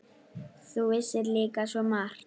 Þú vissir líka svo margt.